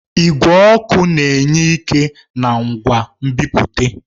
Igwe ọkụ na-enye ike na ngwa nbipute.